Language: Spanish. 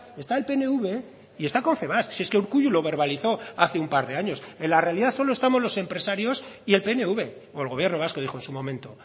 está el pnv y está confebask si es que urkullu lo verbalizó hace un par de años en la realidad solo estamos los empresarios y el pnv o el gobierno vasco dijo en su momento